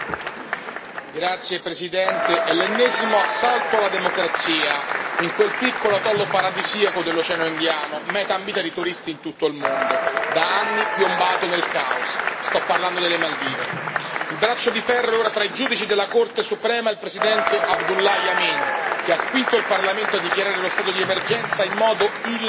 Signora Presidente, onorevoli colleghi, è l'ennesimo assalto alla democrazia in quel piccolo atollo paradisiaco dell'Oceano Indiano, meta ambita di turisti in tutto il mondo, da anni piombato nel caos sto parlando delle Maldive. Il braccio di ferro ora tra i giudici della Corte suprema e il Presidente Abdullah Yameen, che ha spinto il Parlamento a dichiarare lo stato di emergenza in modo illegale,